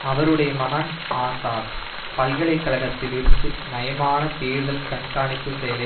அவருடைய மகன் ஆசாத் பல்கலை கழகத்தில் இருந்து நயமான தேர்தல் கண்காணிப்பு செயலை